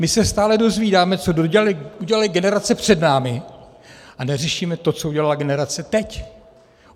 My se stále dozvídáme, co udělaly generace před námi, a neřešíme to, co udělala generace teď.